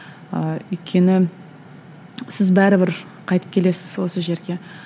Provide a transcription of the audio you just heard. ы өйткені сіз бәрібір қайтып келесіз осы жерге